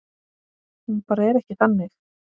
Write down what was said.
Hún bara er ekki þannig.